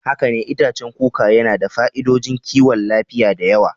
Haka ne, itacen kuka yana da fa'idodin kiwon lafiya da yawa.